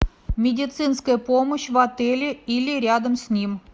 медицинская помощь в отеле или рядом с ним